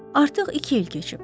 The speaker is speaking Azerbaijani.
Artıq iki il keçib.